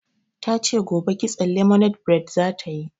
Ta ce gobe kitson lemonade bred za ta yi.